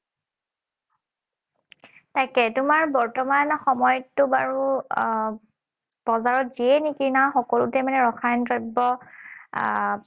তাকে, তোমাৰ বৰ্তমান সময়ততো বাৰু আহ বজাৰত যিয়ে নিকিনা, সকলোতে মানে ৰসায়ন দ্ৰব্য আহ